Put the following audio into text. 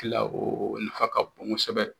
Tila o nafa ka bon kosɛbɛ